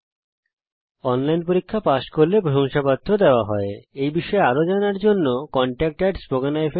যারা অনলাইন পরীক্ষা পাস করে তাদের প্রশংসাপত্র সার্টিফিকেট ও দেওয়া হয়